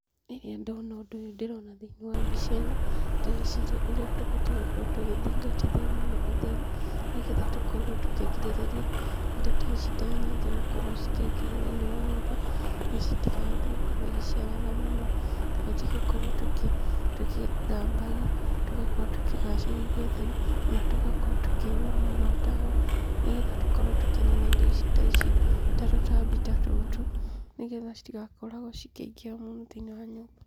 Rĩrĩa ndona ũndũ ũyũ ndĩrona thĩiniĩ wa mbica ĩno, ndĩreciria ũrĩa tũbatiĩ gũkorwo tũgĩthingatithia mũno ũtheru nĩ getha tũkorwo tũkĩrigĩrĩria indo ta ici ta nyenje gũkorwo cikĩingĩha mũno thĩiniĩ wa nyũmba na citigakorwo ikĩhota gũciarana mũno. Tũbatiĩ gũkorwo tũgĩthambagia, tũgakorwo tũkĩgacĩrithia ũtheru ona tũgakorwo tũkĩhũra mũno ndawa nĩ getha tũgakorwo tũkĩnina mũno indo ta ici ta tũtambi ta tũtũ nĩ getha citigakoragwo cikĩingĩha mũno thĩiniĩ wa nyũmba.